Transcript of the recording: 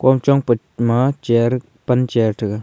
kon chong pe ma chair pant chair thega.